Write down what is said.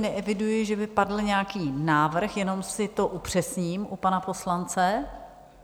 Neeviduji, že by padl nějaký návrh, jenom si to upřesním u pana poslance.